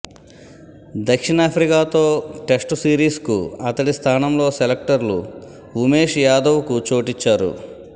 దక్షిణాఫ్రికాతో test సిరీస్కు అతడి స్థానంలో సెలక్టర్లు ఉమేశ్ యాదవ్కు చోటిచ్చారు